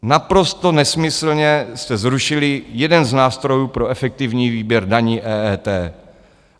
Naprosto nesmyslně jste zrušili jeden z nástrojů pro efektivní výběr daní, EET.